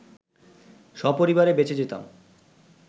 সপরিবারে বেঁচে যেতাম